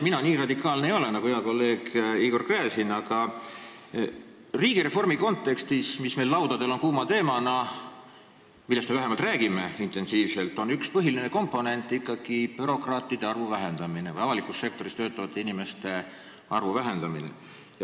Mina nii radikaalne ei ole nagu hea kolleeg Igor Gräzin, aga riigireformis, mis on meil kuum teema ja millest me vähemalt räägime intensiivselt, on üks põhiline komponent ikkagi bürokraatide arvu vähendamine, avalikus sektoris töötavate inimeste arvu vähendamine.